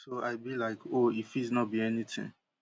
so i be like oh e fit no be anytin